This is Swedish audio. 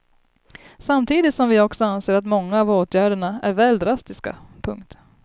Samtidigt som vi också anser att många av åtgärderna är väl drastiska. punkt